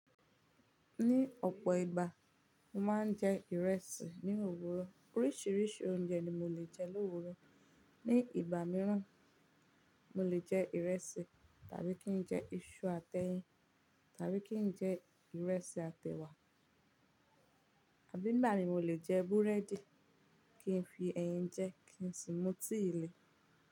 Ní ọ̀pọ̀ ìgbà, mo máa ń jẹ ìrẹsì ní òwúrọ̀. Oríṣìíríṣìí oúnjẹ ni mo lè jẹ l'òwúrọ̀. Ní ìgbà mìíràn, mo lè jẹ ìrẹsì tàbí kí n jẹ iṣu àti ẹyin, tàbí kí n jẹ ìrẹsì àti ẹ̀wà. Àbí ìgbà mìíràn mo lè jẹ búrẹ́dì kí n fi ẹyin jẹ kí n sì mú tíì le.